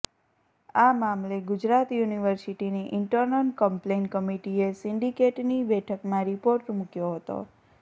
આ મામલે ગુજરાત યુનિવર્સીટીની ઈન્ટરનલ કમ્પલેઈન કમિટીએ સિન્ડિકેટની બેઠકમાં રિપોર્ટ મુક્યો હતો